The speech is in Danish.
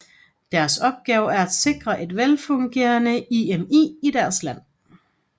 Deres opgave er at sikre et velfungerende IMI i deres land